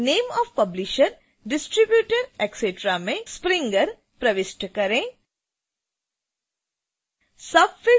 field b name of publisher distributor etc में springer प्रविष्ट करें